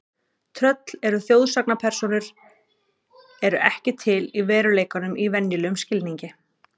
Tröll eru þjóðsagnapersónur eru ekki til í veruleikanum í venjulegum skilningi.